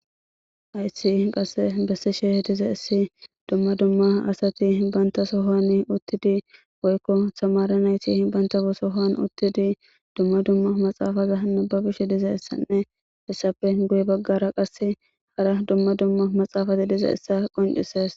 Aysi qasse bessi she diza issi dumma dumma asati hibantasohoan uttidi woykko samaran ayti himbanta busohoan uttidi dumma dumma maxaafaza hanna ba bish diza issanne hissappe guye baggara qasse hara dumma dumma maxaafati diza issa qoncises